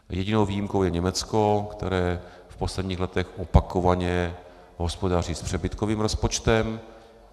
Jedinou výjimkou je Německo, které v posledních letech opakovaně hospodaří s přebytkovým rozpočtem.